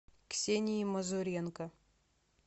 ксении мазуренко